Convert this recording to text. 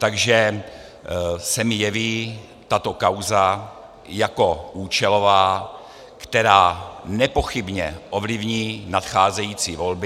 Takže se mi jeví tato kauza jako účelová, která nepochybně ovlivní nadcházející volby.